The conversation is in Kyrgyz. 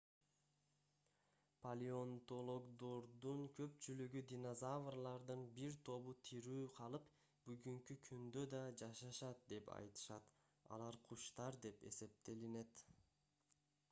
палеонтологдордун көпчүлүгү динозаврлардын бир тобу тирүү калып бүгүнкү күндө да жашашат деп айтышат алар куштар деп эсептелинет